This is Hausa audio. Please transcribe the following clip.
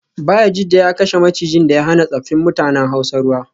Bayajidda ya kashe macijin da ya hana tsaffin mutanen hausa ruwa